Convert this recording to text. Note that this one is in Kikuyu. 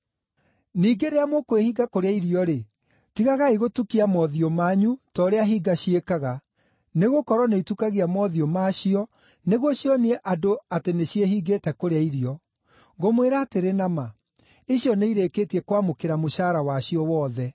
“Ningĩ rĩrĩa mũkwĩhinga kũrĩa irio-rĩ, tigagai gũtukia mothiũ manyu ta ũrĩa hinga ciĩkaga, nĩgũkorwo nĩitukagia mothiũ macio nĩguo cionie andũ atĩ nĩciĩhingĩte kũrĩa irio. Ngũmwĩra atĩrĩ na ma, icio nĩirĩkĩtie kwamũkĩra mũcaara wacio wothe.